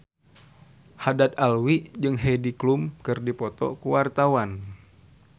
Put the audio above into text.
Haddad Alwi jeung Heidi Klum keur dipoto ku wartawan